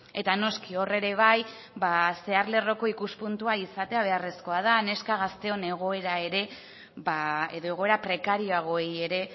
eta noski hor ere bai zehar lerroko ikuspuntua izatea beharrezkoa da neska gazteon egoera ere edo egoera prekarioagoei ere